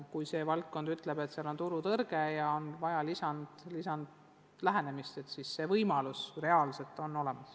Kui valdkond ütleb, et selles või teises osas on turutõrge ja on vaja midagi ette võtta, siis see võimalus on olemas.